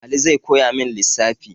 Ali zai koyamin lissafi